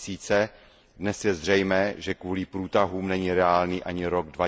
2000. Dnes je zřejmé, že kvůli průtahům není reálný ani rok